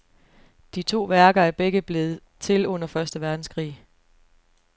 De to værker er begge blevet til under første verdenskrig.